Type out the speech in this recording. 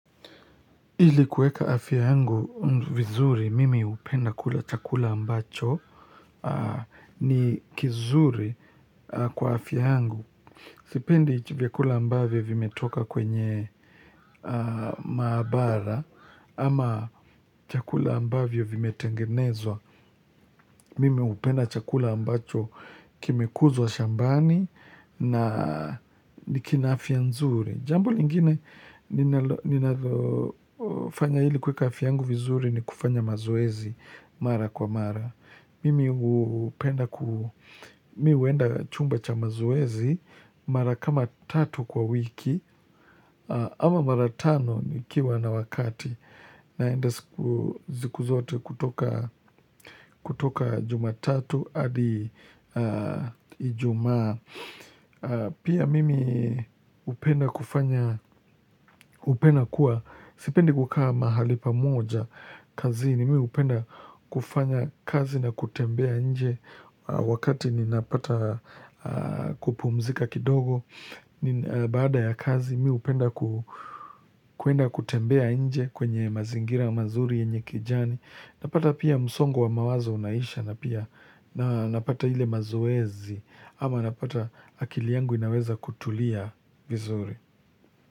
Ili kuweka afya yangu vizuri, mimi hupenda kula chakula ambacho ni kizuri kwa afya yangu. Sipendi vyakula ambavyo vimetoka kwenye maabara, ama chakula ambavyo vimetengenezwa, mimi upenda chakula ambacho kime kuzwa shambani na kina afya nzuri. Jambo lingine ninalo fanya ili kuweka afya yangu vizuri ni kufanya mazoezi mara kwa mara. Mimi hupenda kuu, mihueenda chumba cha mazoezi mara kama tatu kwa wiki ama mara tano nikiwa na wakati. Naenda sikuzote kutoka jumatatu adi ijumaa. Pia mimi upenda kufanya, upenda kuwa, sipendi kukaa mahali pamoja kazini mimi hupenda kufanya kazi na kutembea nje wakati ninapata kupumzika kidogo. Baada ya kazi mi hupenda kwenda kutembea nje kwenye mazingira mazuri yenye kijani napata pia msongo wa mawazo unaisha na napata ile mazoezi ama napata akili yangu inaweza kutulia vizuri.